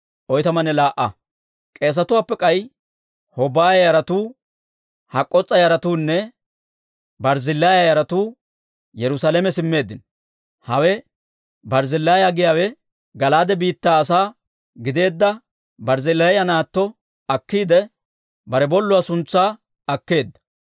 K'eesetuwaappe k'ay Hobaaya yaratuu, Hak'k'oos'a yaratuunne Barzzillaaya yaratuu Yerusaalame simmeeddino. Hawe Barzzillaaya giyaawe Gala'aade biittaa asaa gideedda Barzzillaaya naatto akkiidde, bare bolluwaa suntsaa akkeedda.